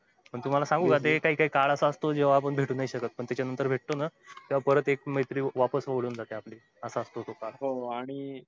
पण तुम्हाला सांगू का जे काळ असा असतो ना जेव्हा भेटू नाही शकत पण त्याच्या नंतर भेटतो ना मैत्री वापस हे होऊन जाते आपली असा असतो तो काळ